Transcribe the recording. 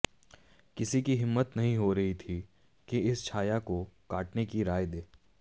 किसी की हिम्मत नहीं हो रही थी कि इस छाया को काटने की राय दे